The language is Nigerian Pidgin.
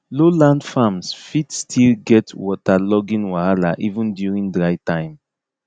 low land farms fit still get waterlogging wahala even during dry time